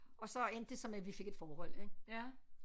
Og så endte det så med vi fik et forhold ik